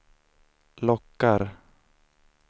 lockar